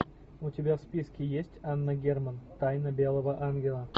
у тебя в списке есть анна герман тайна белого ангела